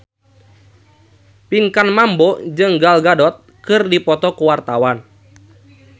Pinkan Mambo jeung Gal Gadot keur dipoto ku wartawan